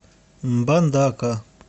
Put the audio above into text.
мбандака